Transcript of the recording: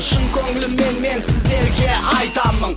шын көңіліммен мен сіздерге айтамын